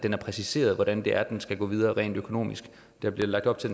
er præciseret hvordan det er det skal gå videre rent økonomisk der bliver lagt op til